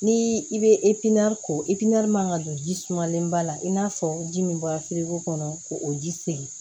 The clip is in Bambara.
Ni i bɛ ko man ka don ji sumalen ba la i n'a fɔ ji min bɔra firigo kɔnɔ k'o ji segin